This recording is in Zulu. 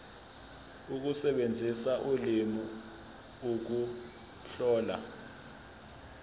ukusebenzisa ulimi ukuhlola